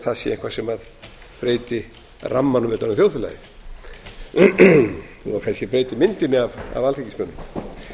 það sé eitthvað sem breyti rammanum utan um þjóðfélagið þó að það kannski breyti